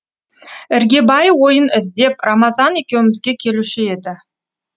іргебай ойын іздеп рамазан екеумізге келуші еді